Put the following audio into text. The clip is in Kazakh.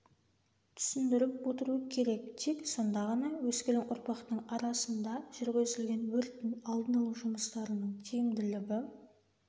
түсіндіріп отыру керек тек сонда ғана өскелең ұрпақтың арасында жүргізілген өрттің алдын алу жұмыстарының тиімділігі